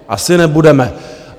Asi nebudeme.